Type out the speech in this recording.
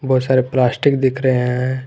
बहोत सारे प्लास्टिक दिख रहे हैं।